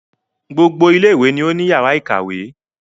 Gbogbo ilé ìwé ni o ni àwọn yàrá ìkàwé.